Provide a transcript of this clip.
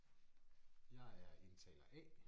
Jeg er indtaler A